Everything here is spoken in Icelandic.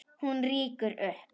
Hún rýkur upp.